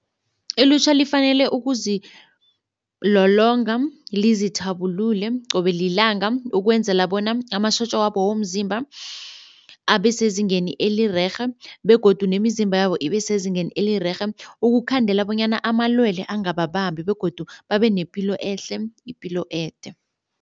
Ilutjha lifanele ukuzilolonga lizithabulule qobe lilanga ukwenzela bona amasotja wabo womzimba abe sezingeni elirerhe begodu nemizimba yabo ibe sezingeni elirerhe ukukhandela bonyana amalwelwe angababambi begodu babe nepilo ehle, ipilo ede.